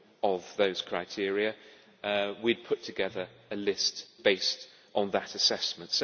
of those criteria, we would put together a list based on that assessment.